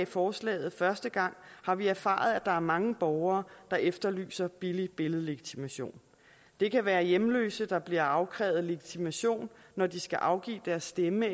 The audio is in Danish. forslaget første gang har vi erfaret at der er mange borgere der efterlyser billig billedlegitimation det kan være hjemløse der bliver afkrævet legitimation når de skal afgive deres stemme